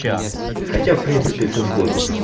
хотя в принципе все сходиться